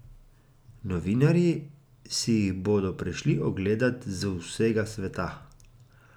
Novinarji si jih bodo prišli ogledat z vsega sveta.